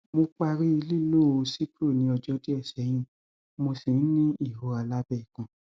mo parí lílo cipro ní ọjọ díẹ sẹyìn mo ṣì ń ní ìrora lábẹ ikùn